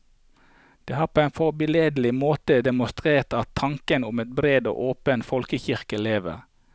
De har på en forbilledlig måte demonstrert at tanken om en bred og åpen folkekirke lever.